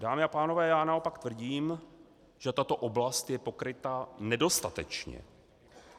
Dámy a pánové, já naopak tvrdím, že tato oblast je pokryta nedostatečně.